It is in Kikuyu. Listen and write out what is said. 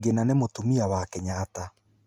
Ngina nĩ mũtumia wa Kenyatta.